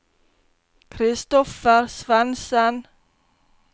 Kristoffer Svensen